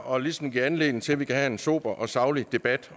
og ligesom giver anledning til at vi kan have en sober og saglig debat